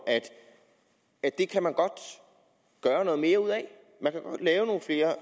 at det kan man godt gøre noget mere ud